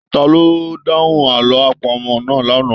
Taló dahùn àlọ àpamọ̀ náà l'ana?